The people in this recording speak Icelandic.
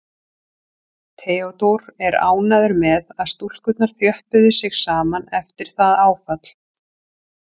Theodór er ánægður með að stúlkurnar þjöppuðu sig saman eftir það áfall.